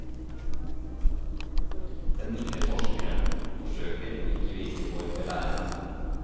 Den milde forskeren forsøker å ikke virke for belærende.